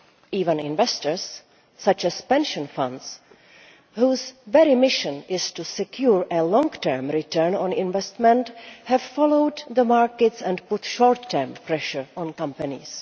Even investors such as pension funds, whose very mission is to secure a long term return on investment, have followed the markets and put short term pressure on companies.